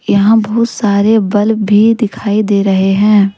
यहां बहुत सारे बल्ब भी दिखाई दे रहे हैं।